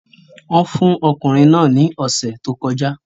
Wọ́n fún okùnrin náà ní ọ̀sẹ̀ tó kọjá